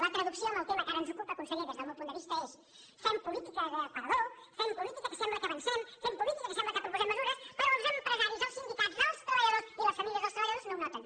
la traducció en el tema que ara ens ocupa conseller des del meu punt de vista és que fem política d’aparador fem política que sembla que avancem fem política que sembla que proposem mesures però els empresaris els sindicats els treballadors i les famílies dels treballadors no ho noten